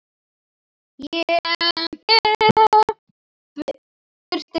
Berti hló.